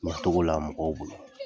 Na togola mɔgɔw bolo.